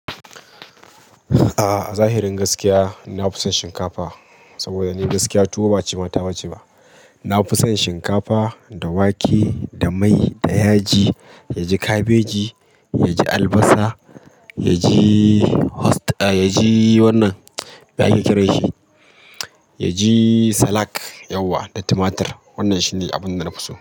A zahirin gaskiya, na fi son shinkafa saboda ni gaskiya tuwo ba cimata bace ba. Na fi son shinkafa da wake da mai da yaji, yaji kabeji, yaji albasa, yaji wannan, me ake kira shi? Yaji salak yauwa da tumatur. Wannan shine abin da na fi so.